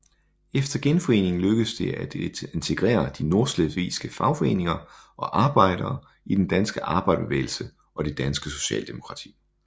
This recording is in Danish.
Efter genforeningen lykkedes det at integrere de nordslesvigske fagforeninger og arbejdere i den danske arbejderbevægelse og det danske Socialdemokrati